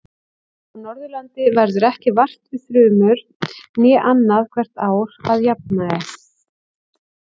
Á Norðurlandi verður ekki vart við þrumur nema annað hvert ár að jafnaði.